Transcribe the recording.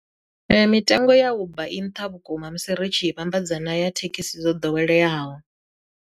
Mitengo ya uber i nṱha vhukuma musi ri tshi vhambedza na ya thekhisi dzo ḓoweleaho.